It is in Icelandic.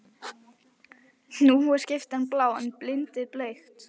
Nú er skyrtan blá en bindið bleikt.